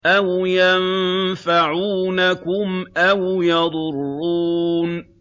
أَوْ يَنفَعُونَكُمْ أَوْ يَضُرُّونَ